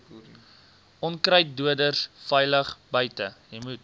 onkruiddoders veilig buite